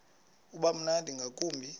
uba mnandi ngakumbi